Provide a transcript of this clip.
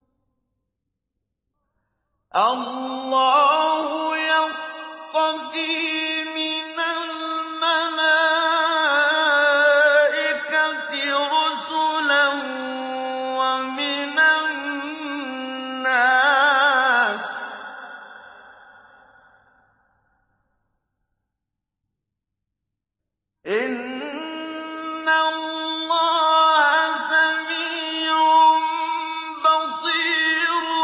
اللَّهُ يَصْطَفِي مِنَ الْمَلَائِكَةِ رُسُلًا وَمِنَ النَّاسِ ۚ إِنَّ اللَّهَ سَمِيعٌ بَصِيرٌ